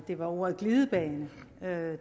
det var ordet glidebane